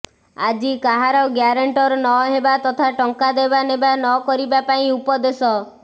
ଆଜି କାହାର ଗ୍ୟାରେଣ୍ଟର ନ ହେବା ତଥା ଟଙ୍କା ଦେବା ନେବା ନକରିବା ପାଇଁ ଉପଦେଶ